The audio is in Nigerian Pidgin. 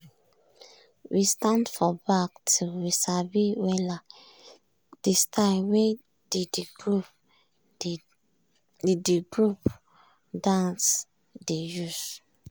we stand for back till we sabi wella de style wey de the group dance dey use.